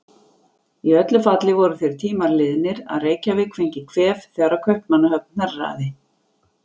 Í öllu falli voru þeir tímar liðnir, að Reykjavík fengi kvef þegar Kaupmannahöfn hnerraði.